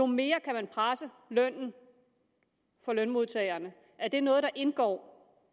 mere kan man presse lønnen for lønmodtagerne er det noget der indgår